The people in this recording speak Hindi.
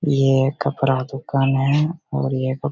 ये कपड़ा दुकान है और ये --